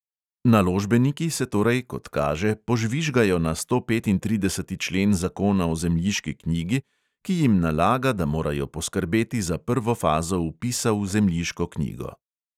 Naložbeniki se torej, kot kaže, požvižgajo na stopetintrideseti člen zakona o zemljiški knjigi, ki jim nalaga, da morajo poskrbeti za prvo fazo vpisa v zemljiško knjigo.